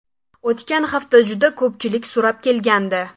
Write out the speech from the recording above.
O‘tgan hafta juda ko‘pchilik so‘rab kelgandi.